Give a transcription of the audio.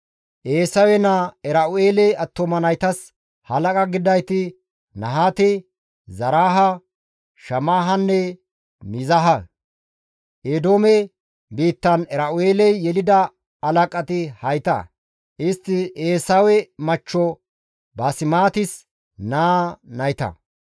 Eesawe naa Era7u7eele attuma naytas halaqa gididayti Nahaate, Zaraahe, Shammahanne Miizahe; Eedoome biittan Era7u7eeley yelida halaqati hayta; istti Eesawe machcho Baasemaatis naa nayta.